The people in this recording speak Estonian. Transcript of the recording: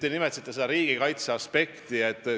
Te nimetasite riigikaitseaspekti.